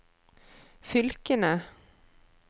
fylkene